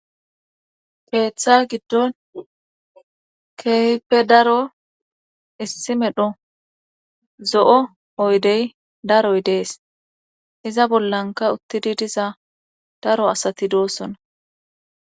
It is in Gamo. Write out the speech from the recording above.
Heeththa giddon keype daro issi medho zo'o oydey daroy dees iza bollanka uttidi diza daro asati doossona.